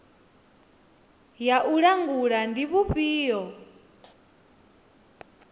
ya u langula ndi vhufhio